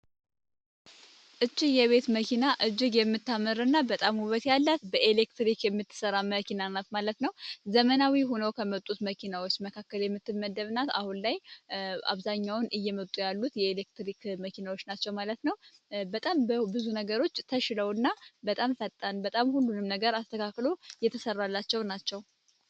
እትዬ የቤት መኪና እጅግ የምትመራና በጣም ውበት ያላት በኤሌክትሪክ የምትሰራ መኪና ዘመናዊ ሆኖ ከመጡት መኪናዎች መካከል የምትመደብ ናት አሁን ላይ አብዛኛውን እየመጡ ያሉት የኤሌክትሪክ መኪናዎች ናቸው ማለት ነው። በጣም ብዙ ነገሮች ተሽለውና በጣም ፈጣን በጣም ሁሉም ነገር አስተካክሎ የተሰራላቸው ናቸው።